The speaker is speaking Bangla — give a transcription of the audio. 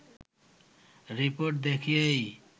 রিপোর্ট দেখিয়েই